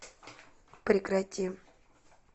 прекрати